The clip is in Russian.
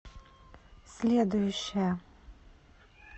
следующая